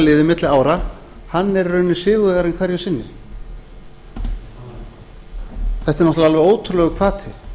liði milli ára hann er í rauninni sigurvegarinn hverju sinni þetta er náttúrlega alveg ótrúlegur hvati